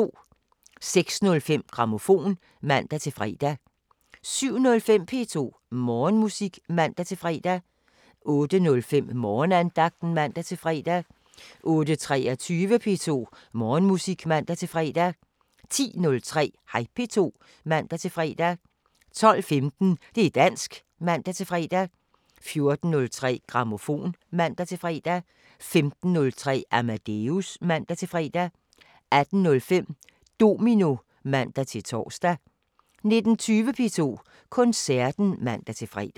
06:05: Grammofon (man-fre) 07:05: P2 Morgenmusik (man-fre) 08:05: Morgenandagten (man-fre) 08:23: P2 Morgenmusik (man-fre) 10:03: Hej P2 (man-fre) 12:15: Det´ dansk (man-fre) 14:03: Grammofon (man-fre) 15:03: Amadeus (man-fre) 18:05: Domino (man-tor) 19:20: P2 Koncerten (man-fre)